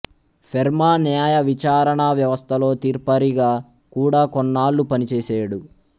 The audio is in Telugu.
ఫెర్మా న్యాయ విచారణా వ్యవస్థలో తీర్పరిగా కూడా కొన్నాళ్లు పని చేసేడు